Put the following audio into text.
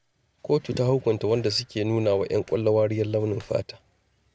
Kotu ta hukunta wadanda suke nuna wa ƴan kwallo wariyar launin fata.